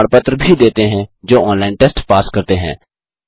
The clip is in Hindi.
उनको प्रमाण पत्र भी देते हैं जो ऑनलाइन टेस्ट पास करते हैं